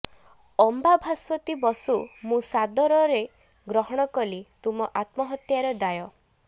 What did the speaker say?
ଅମ୍ବା ଭାସ୍ୱତୀ ବସୁ ମୁଁ ସାଦରେ ଗ୍ରହଣ କଲି ତୁମ ଆତ୍ମହତ୍ୟାର ଦାୟ